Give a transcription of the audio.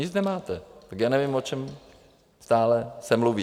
Nic nemáte, tak já nevím, o čem stále se mluví.